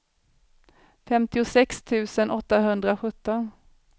femtiosex tusen åttahundrasjutton